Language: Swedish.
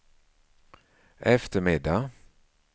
eftermiddag